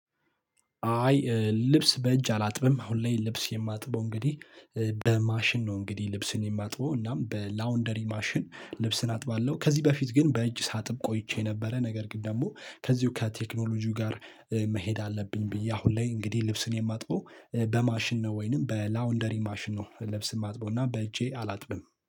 አይ ልብስ በእጅ አላጥብም አሁን ላይ ልብስ የማጥበው እንግዲህ በማሽን ነው እንግዲህ ልብስን የማጥበው እናም በላውንደሪ ማሽን ልብስን አጥባለሁ። ከዚህ በፊት ግን በእጅ ሳጥብ ቆይቼ ነበረ። ነገር ግን ደግሞ ከዚሁ ከቴክኖሎጂው ጋር መሄድ አለብኝ ብዬ አሁን ላይ እንግዲህ ልብስን የማጥበው በማሽን ነው። ወይንም በላውንደሪ ማሽን ነው ልብስ ማጥበውና በእጄ አላጥብም